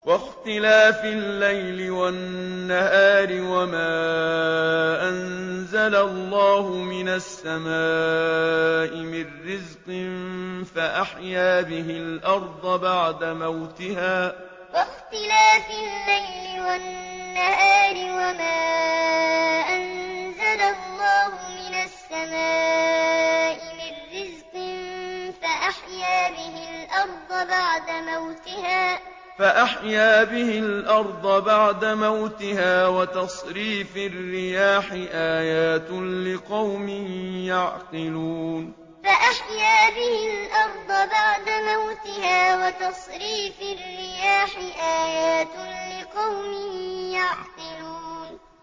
وَاخْتِلَافِ اللَّيْلِ وَالنَّهَارِ وَمَا أَنزَلَ اللَّهُ مِنَ السَّمَاءِ مِن رِّزْقٍ فَأَحْيَا بِهِ الْأَرْضَ بَعْدَ مَوْتِهَا وَتَصْرِيفِ الرِّيَاحِ آيَاتٌ لِّقَوْمٍ يَعْقِلُونَ وَاخْتِلَافِ اللَّيْلِ وَالنَّهَارِ وَمَا أَنزَلَ اللَّهُ مِنَ السَّمَاءِ مِن رِّزْقٍ فَأَحْيَا بِهِ الْأَرْضَ بَعْدَ مَوْتِهَا وَتَصْرِيفِ الرِّيَاحِ آيَاتٌ لِّقَوْمٍ يَعْقِلُونَ